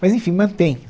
Mas, enfim, mantém